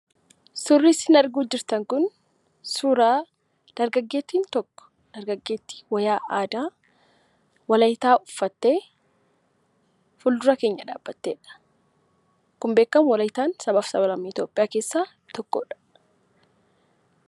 Suurri isin arguutti jirtan kun suuraa dargaggeettiin tokko, dargaggeettii wayyaa aadaa walaayittaa uffattee, fuuldura keenya dhaabbatteedha. Akkuma beekamu walaayittaan sabaa fi sablammoota Itoophiyaa keessaa tokkoodha.